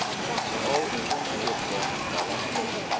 veral onseepkans pella